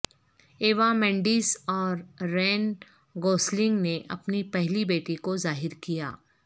Eva Mendes اور Ryan Gosling نے اپنی پہلی بیٹی کو ظاہر کیا